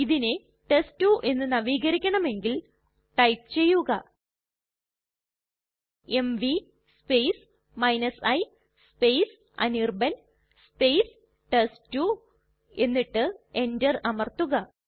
ഇതിനെ ടെസ്റ്റ്2 എന്ന് നവീകരിക്കണമെങ്കിൽ ടൈപ്പ് ചെയ്യുക എംവി i അനിർബാൻ ടെസ്റ്റ്2 എന്നിട്ട് Enter അമർത്തുക